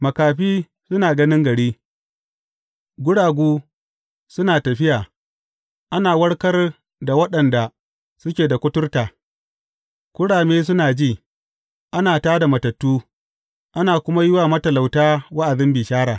Makafi suna ganin gari, guragu suna tafiya, ana warkar da waɗanda suke da kuturta, kurame suna ji, ana tā da matattu, ana kuma yi wa matalauta wa’azin bishara.